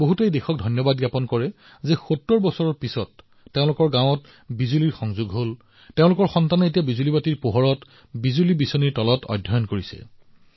বহুলোকে ৭০ বছৰৰ ভিতৰত প্ৰথমবাৰলৈ তেওঁলোকৰ গাওঁবোৰত বিদ্যুত সংযোগ কৰা হৈছে বাবে দেশক ধন্যবাদ জনাইছে তেওঁলোকৰ পুত্ৰ আৰু কন্যাসকলে পোহৰত অধ্যয়ন কৰি আছে ফেনৰ বতাহৰ তলত পঢ়ি আছে